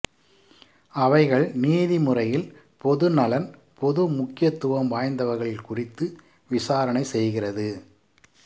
அவைகள் நீதி முறையில் பொதுநலன் பொது முக்கியத்துவம் வாய்ந்தவைகள் குறித்து விசாரணை செய்கிறது